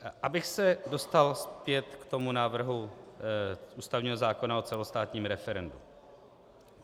Abych se dostal zpět k tomu návrhu ústavního zákona o celostátním referendu.